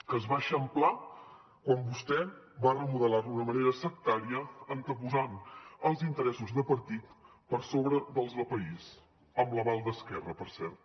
que es va eixamplar quan vostè va remodelar d’una manera sectària anteposant els interessos de partit per sobre dels de país amb l’aval d’esquerra per cert